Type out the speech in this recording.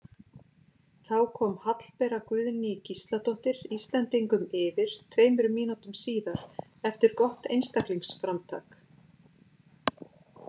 Þá kom Hallbera Guðný Gísladóttir Íslendingum yfir tveimur mínútum síðar eftir gott einstaklingsframtak.